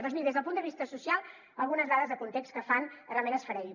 doncs miri des del punt de vista social algunes dades de context que fan realment esfereir